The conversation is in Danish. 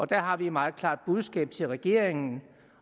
der har vi et meget klart budskab til regeringen